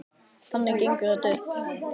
Þannig gengur þetta upp.